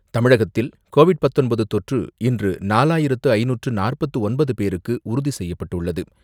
தமிழகத்தில் கோவிட் பத்தொன்பது தொற்று இன்று நாலாயிரத்து ஐந்நூற்று நாற்பத்து ஒன்பது பேருக்கு உறுதி செய்யப்பட்டுள்ளது.